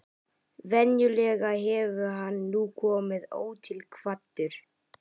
Venjulega hefur hann nú komið ótilkvaddur.